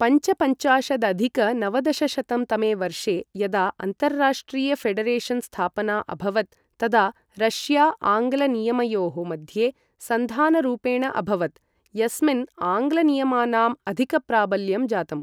पञ्चपञ्चाशदधिक नवदशशतं तमे वर्षे यदा अन्ताराष्ट्रिय ऴेडरेशन् स्थापना अभवत्, तदा रष्या आङ्ग्ल नियमयोः मध्ये सन्धानरूपेण अभवत्, यस्मिन् आङ्ग्ल नियमानाम् अधिकप्राबल्यं जातम्।